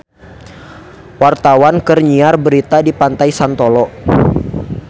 Wartawan keur nyiar berita di Pantai Santolo